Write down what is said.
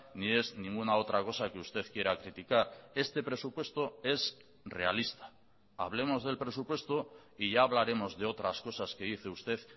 ni es ninguna otra cosa que usted quiera criticar este presupuesto es realista hablemos del presupuesto y ya hablaremos de otras cosas que dice usted